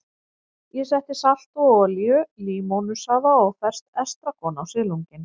Ég setti salt og olíu, límónusafa og ferskt estragon á silunginn.